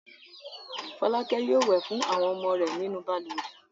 Fọlákẹ́ yóò wẹ̀ fún àwọn ọmọ rẹ̀ nínú balùwẹ̀.